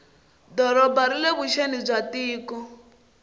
doroba rile vuxeni bya tiko